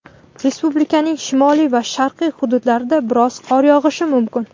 Respublikaning shimoliy va sharqiy hududlarida biroz qor yog‘ishi mumkin.